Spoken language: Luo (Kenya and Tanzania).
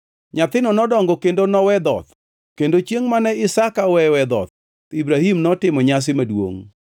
Nyathino nodongo kendo nowe dhoth, kendo chiengʼ mane Isaka oweyoe dhoth Ibrahim notimo nyasi maduongʼ.